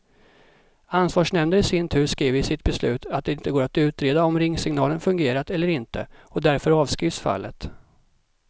Ansvarsnämnden i sin tur skriver i sitt beslut att det inte går att utreda om ringsignalen fungerat eller inte, och därför avskrivs fallet.